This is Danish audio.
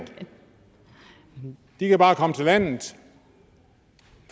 de kan bare komme til landet